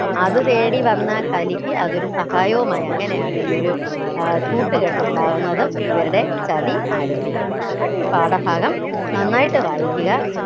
അത് തേടി വന്ന കലിക്ക് അതൊരു സഹായവുമായി അങ്ങനെയാണ് ഈ ഒരു ഏർ കൂട്ടുകെട്ട് ഉണ്ടാവുന്നതും ഇവരുടെ ചതി ആരംഭിക്കുന്നതും അപ്പൊ ഈ പാഠഭാഗം നന്നായിട്ട് വായിക്കുക